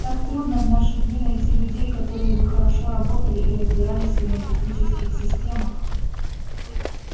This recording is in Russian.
так трудно в наши дни найти людей которые бы хорошо работали и разбирались в энергетических системах